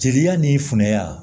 Jeliya ni funɛya